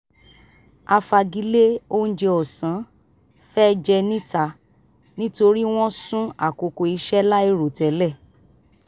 a fagilé oúnjẹ ọ̀sán fẹ́ jẹ níta nítorí wọ́n sún àkókò iṣẹ́ láìròtẹ́lẹ̀